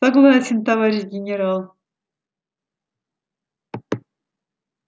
согласен товарищ генерал